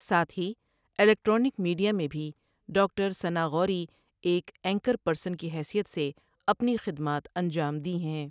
ساتھ ہی electronic media میں بھی ڈاکٹر ثناءغوری ایک اینکر پرسن کی حیثیت سے اپنی خدمات انجام دی ہیں ۔